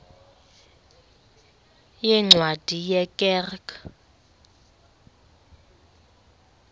yeencwadi ye kerk